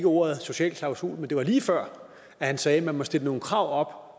ordet social klausul men det var lige før han sagde at man må stille nogle krav